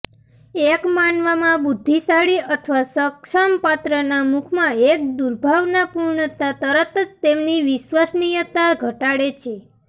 એક માનવામાં બુદ્ધિશાળી અથવા સક્ષમ પાત્રના મુખમાં એક દુર્ભાવનાપૂર્ણતા તરત જ તેમની વિશ્વસનીયતા ઘટાડે છે